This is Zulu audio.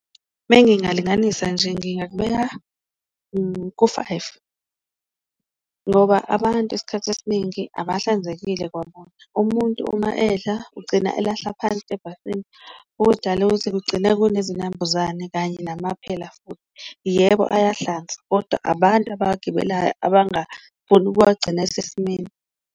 Mengingalinganisa nje ngingakubeka ku-five ngoba abantu esikhathi esiningi abahlinzekile kwabona, umuntu uma edla ugcina elahla ngaphansi ebhasini okudala ukuthi kugcina kunezinambuzane kanye namaphela futhi. Yebo ayahlanza, koda abantu abawagibelayo abangafuni ukuwagcina esesimeni.